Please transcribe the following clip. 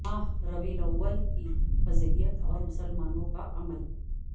ماہ ربیع الاول کی فضیلت اور مسلمانوں کا عمل